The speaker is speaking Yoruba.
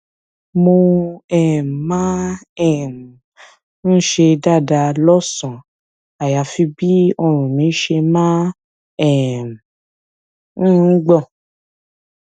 mo um máa um ń ṣe dáadáa lọsànán àyàfi bí ọrùn mi ṣe máa um ń gbọn